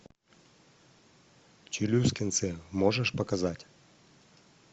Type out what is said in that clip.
челюскинцы можешь показать